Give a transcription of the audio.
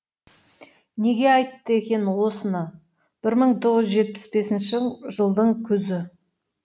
неге айтты екен осыны бір мың тоғыз жүз жетпіс бесінші жылдың күзі